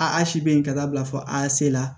A si be yen ka taa bila fɔ a se la